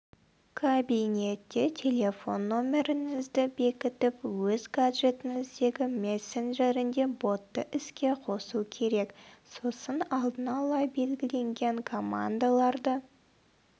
кабинетте телефон нөміріңізді бекітіп өз гаджетіңіздегі мессенджерінде ботты іске қосу керек сосын алдын-ала белгіленген командаларды